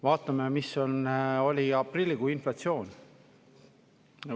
Vaatame, missugune oli aprillikuu inflatsioon.